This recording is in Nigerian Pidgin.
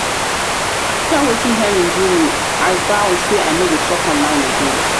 after wetin henry do me i vow say i no go shop online again